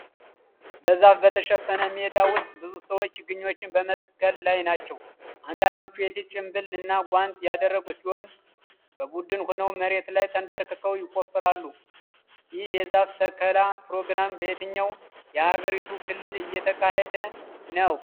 በዛፍ በተሸፈነ ሜዳ ውስጥ ብዙ ሰዎች ችግኞችን በመትከል ላይ ናቸው። አንዳንዶቹ የፊት ጭንብል እና ጓንት ያደረጉ ሲሆን፣ በቡድን ሆነው መሬት ላይ ተንበርክከው ይቆፍራሉ። ይህ የዛፍ ተከላ ፕሮግራም በየትኛው የአገሪቱ ክልል እየተካሄደ ነው?